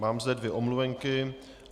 Mám zde dvě omluvenky.